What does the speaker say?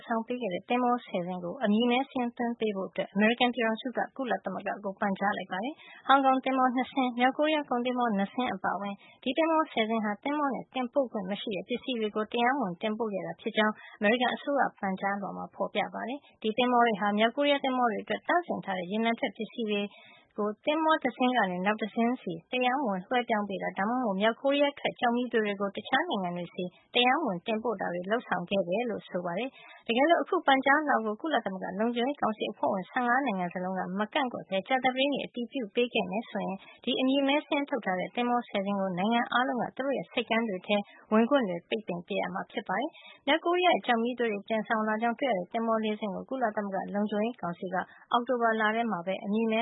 ဆောင်ပေးခဲ့တဲ့ သဘောၤာ ၁၀ စင်းကို အမည်မည်း စာရင်း သွင်းပေးဖို့ အမေရိကန် ပြည်ထောင်စုက ကုလသမဂ္ဂကို ပန်ကြားလိုက်ပါတယ်။ ဟောင်ကောင် သင်္ဘော ၂ စင်း၊ မြောက်ကိုရီးယား ကုန်သင်္ဘော ၂ စင်း အပါအဝင် ဒီသင်္ဘော ဆယ်စင်းဟာ သဘောၤနဲ့ တင်ပို့ခွင့် မရှိတဲ့ ပစ္စည်းတွေကို တရားမဝင် တင်ပို့ခဲ့တာဖြစ်ကြောင်း အမေရိကန် အစိုးရရဲ့ ပန်ကြားလွှာမှာ ဖေါ်ပြထားပါတယ်။ ဒီသဘောၤတွေဟာ မြောက်ကိုရီးယား သင်္ဘောတွေအတွက် သန့်စင်ထားတဲ့ ရေနံထွက် ပစ္စည်းတွေကို သင်္ဘောတစင်းကနေ နောက်တစင်းဆီ တရားမဝင် လွှဲပြောင်း ပေးတာ ဒါမှမဟုတ် မြောက်ကိုရီးယားထွက် ကျောက်မီးသွေးတွေကို တခြားနိုင်ငံတွေဆီ တရားမဝင် တင်ပို့တာတွေ လုပ်ဆောင်ခဲ့တယ်လို့ ဆိုပါတယ်။ တကယ်လို့ အခု ပန်ကြားလွှာကို ကုလသမဂ္ဂ လုံခြုံရေးကောင်စီ အဖွဲ့ဝင် နိုင်ငံ ၁၅ နိုင်ငံ စလုံးက မကန့်ကွက်ဘဲ ကြာသပတေးနေ့မှာ အတည်ပြုပေးခဲ့မယ် ဆိုရင် ဒီအမည်မည်း စာရင်းထုတ်ထားတဲ့ သင်္ဘော ဆယ်စင်းကို နိုင်ငံအားလုံးက သူတို့ရဲ့ ဆိပ်ကမ်းတွေထဲ ဝင်ခွင့်ပိတ်ပင်ရမှာ ဖြစ်ပါတယ်။ မြောက်ကိုရီးယားရဲ့ ကျောက်မီးသွေးတွေ တင်ဆောင်လာကြောင်း တွေ့ရှိရတဲ့ သင်္ဘော ၄ စင်းကို ကုလသမဂ္ဂ လုံခြုံရေးကောင်စီက အောက်တိုဘာလထဲမှာပဲ အမည်မ